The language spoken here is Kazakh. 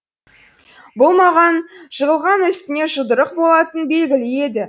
бұл маған жығылған үстіне жұдырық болатыны белгілі еді